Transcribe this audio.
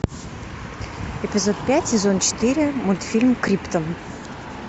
эпизод пять сезон четыре мультфильм криптон